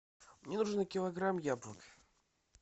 мне нужен килограмм яблок